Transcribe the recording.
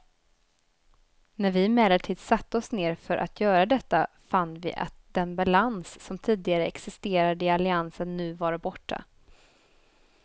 När vi emellertid satte oss ner för att göra detta fann vi att den balans som tidigare existerade i alliansen nu var borta.